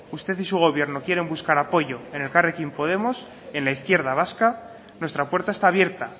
usted y su gobierno quieren buscar apoyo en elkarrekin podemos en la izquierda vasca nuestra puerta está abierta